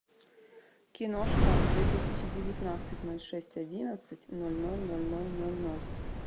киношка две тысячи девятнадцать ноль шесть одиннадцать ноль ноль ноль ноль ноль ноль